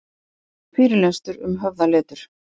Fyrirlestur um höfðaletur